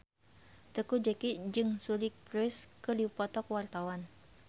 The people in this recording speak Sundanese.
Teuku Zacky jeung Suri Cruise keur dipoto ku wartawan